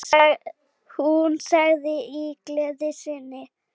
Hún sagði í gleði sinni